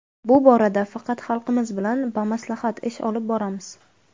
Bu borada faqat xalqimiz bilan bamaslahat ish olib boramiz.